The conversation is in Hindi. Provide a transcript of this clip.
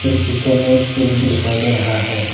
पीछे में एक फील्ड भी दिखाई दे रहा है।